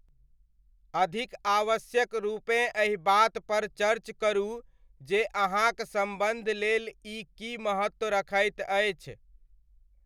अधिक आवश्यक रूपेँ एहि बातपर चर्च करू जे अहाँक सम्बन्ध लेल ई की महत्व रखैत अछि।